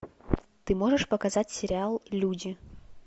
ты можешь показать сериал люди